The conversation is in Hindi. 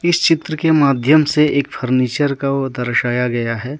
इस चित्र के माध्यम से एक फर्नीचर का वह दर्शाया गया है।